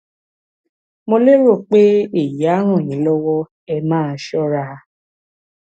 mo lérò pé èyí á ràn yín lọwọ ẹ máa ṣọra